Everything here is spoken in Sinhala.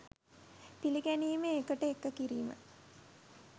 පිළිගැනීම එකට එක කිරීම